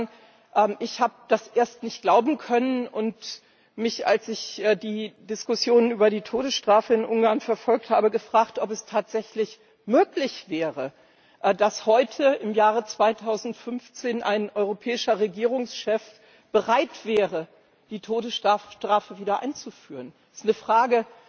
Ich muss sagen, ich habe das erst nicht glauben können und mich, als ich die Diskussion über die Todesstrafe in Ungarn verfolgt habe, gefragt, ob es tatsächlich möglich wäre, dass heute im Jahre 2015 ein europäischer Regierungschef bereit wäre, die Todesstrafe wieder einzuführen Das ist eine Frage,